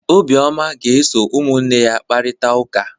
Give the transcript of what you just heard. Obioma ga-esoro ụmụnne ya kparịta ụka.